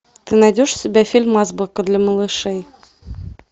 ты найдешь у себя фильм азбука для малышей